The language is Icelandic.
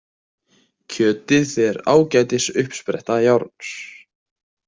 Kjötið er ágætis uppspretta járns.